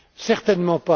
Certainement